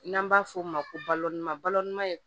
N'an b'a f'o ma ko balɔntan balɔntan